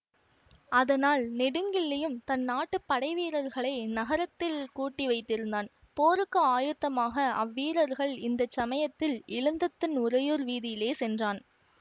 அதனால் நெடுங்கிள்ளியும் தன் நாட்டுப் படைவீரர்களை நகரத்தில் கூட்டிவைத்திருந்தான் போருக்கு ஆயுத்தமாக அவ்வீரர்கள் இந்த சமயத்தில் இளந்தத்தன் உறையூர் வீதியிலே சென்றான்